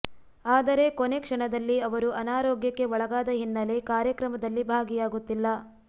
ಆದರೆ ಕೊನೆ ಕ್ಷಣದಲ್ಲಿ ಅವರು ಅನಾರೋಗ್ಯಕ್ಕೆ ಒಳಗಾದ ಹಿನ್ನೆಲೆ ಕಾರ್ಯಕ್ರಮದಲ್ಲಿ ಭಾಗಿಯಾಗುತ್ತಿಲ್ಲ